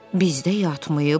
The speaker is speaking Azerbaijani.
Bizdə yatmayıb.